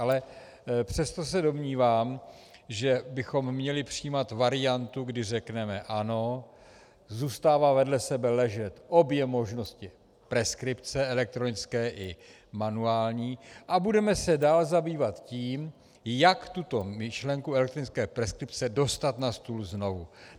Ale přesto se domnívám, že bychom měli přijímat variantu, kdy řekneme: Ano, zůstávají vedle sebe ležet obě možnosti preskripce, elektronické i manuální, a budeme se dále zabývat tím, jak tuto myšlenku elektronické preskripce dostat na stůl znovu.